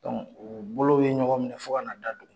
u bolow ye ɲɔgɔn minɛ fo ka na da duguma.